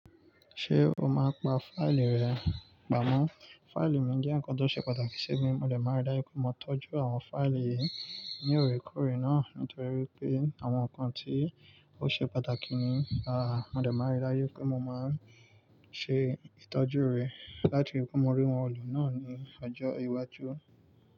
Ṣé o máa pa fáìlì rẹ? Pamọ́. Fáìlì mi jẹ́ ǹkan tó ṣe pàtàkì sí mi. Mó de máa n ri dáju pé mo tọ́jú àwọn fáìlì yìí ní òorékóorè náà nítorí pé àwọn ǹkan tí ó ṣe pàtàkì ni. Mó de máa n ri dáju pé mo máa ń ṣe ìtọ́jú rẹ̀ láti rii wipe mo rí wọn lọ náà ní ọjọ́ iwájú.